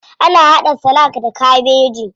Ana haɗa salak da kabeji.